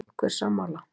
Einhver sammála?